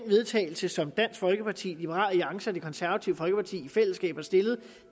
vedtagelse som dansk folkeparti liberal alliance og det konservative folkeparti i fællesskab